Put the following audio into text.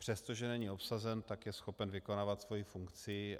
Přestože není obsazen, tak je schopen vykonávat svoji funkci.